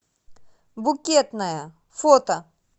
букетная фото